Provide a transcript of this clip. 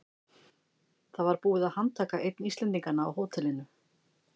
Það var búið að handtaka einn Íslendinganna á hótelinu.